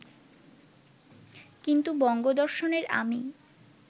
কিন্তু বঙ্গদর্শনের আমি